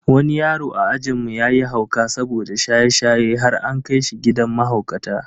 Wani yaro a ajinmu yayi hauka saboda shaye-shaye har an kai shi gidan mahaukata.